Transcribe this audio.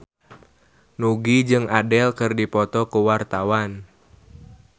Nugie jeung Adele keur dipoto ku wartawan